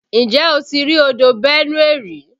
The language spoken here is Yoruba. Ǹjẹ́ o ti rí odò Benue rí?